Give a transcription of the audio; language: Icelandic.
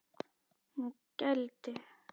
Hún gældi.